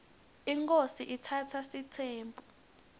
inkhosi itsatsa sitsembu